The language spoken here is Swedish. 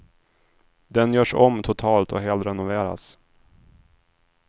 Den görs om totalt och helrenoveras.